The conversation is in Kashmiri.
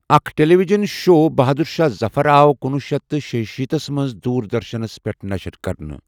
اکھ ٹےلیٖوِجن شو بہادُر شاہ ظفر آو کُنوُہ سیٚتھ تہٕ شیشیٖتھ مَنٛز دور دَرشَنَس پیٹھ نَشٔر کَرنہٕ ۔